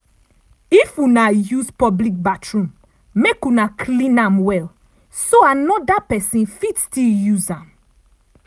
if una use public bathroom make una clean am well so another pesin fit still use am.